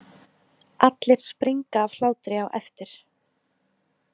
Allir springa af hlátri á eftir.